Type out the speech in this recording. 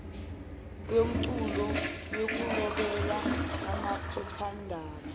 yomculo yokulobela amaphephandaba